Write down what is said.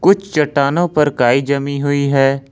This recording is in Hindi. कुछ चट्टानों पर काई जमी हुई है।